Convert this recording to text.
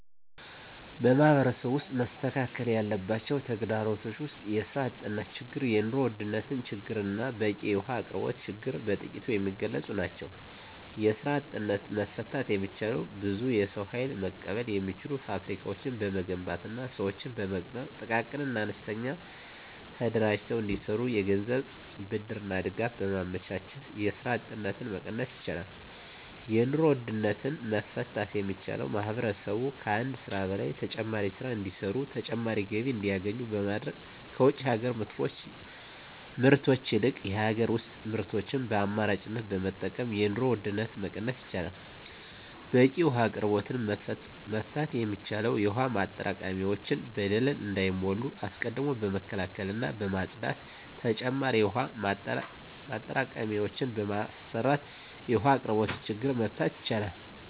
በማህበረሰቡ ውስጥ መስተካከል ያለባቸው ተግዳሮቶች ውስጥ የስራ አጥነት ችግር የኑሮ ውድነት ችግርና በቂ የውሀ አቅርቦት ችግር በጥቂቱ የሚገለፁ ናቸው። የስራ አጥነትን መፍታት የሚቻለው ብዙ የሰው ሀይል መቀበል የሚችሉ ፋብሪካዎችን በመገንባትና ስዎችን በመቅጠር ጥቃቅንና አነስተኛ ተደራጅተው እንዲሰሩ የገንዘብ ብድርና ድጋፍ በማመቻቸት የስራ አጥነትን መቀነስ ይቻላል። የኑሮ ውድነትን መፍታት የሚቻለው ማህበረሰቡ ከአንድ ስራ በላይ ተጨማሪ ስራ እንዲሰሩና ተጨማሪ ገቢ እንዲያገኙ በማድረግ ከውጭ ሀገር ምርቶች ይልቅ የሀገር ውስጥ ምርቶችን በአማራጭነት በመጠቀም የኑሮ ውድነትን መቀነስ ይቻላል። በቂ የውሀ አቅርቦትን መፍታት የሚቻለው የውሀ ማጠራቀሚያዎች በደለል እንዳይሞሉ አስቀድሞ በመከላከልና በማፅዳት ተጨማሪ የውሀ ማጠራቀሚያዎችን በመስራት የውሀ አቅርቦትን ችግር መፍታት ይቻላል።